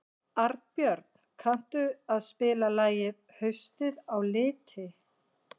Arnbjörn, kanntu að spila lagið „Haustið á liti“?